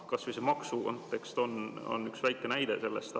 Kas või see maksukontekst on üks väike näide selle kohta.